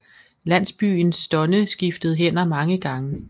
Landsbyen Stonne skiftede hænder mange gange